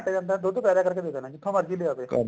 ਘੰਟੇ ਚ ਇੰਨਾ ਦੁੱਧ ਪੈਦਾ ਕਰਕੇ ਲਿਆ ਦੇਣਾ ਜਿੱਥੋਂ ਮਰਜ਼ੀ ਲਿਆਵੇ